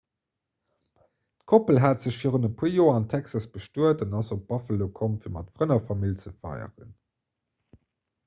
d'koppel hat sech virun e puer joer an texas bestuet an ass op buffalo komm fir mat frënn a famill ze feieren